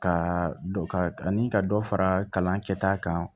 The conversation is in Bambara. Ka dɔ ka ani ka dɔ fara kalan kɛ ta kan